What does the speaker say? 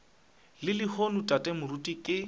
le lehono tate moruti ke